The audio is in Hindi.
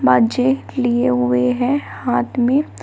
बाजे लिए हुए हैं हाथ में।